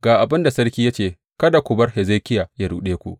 Ga abin da sarki ya ce kada ku bar Hezekiya ya ruɗe ku.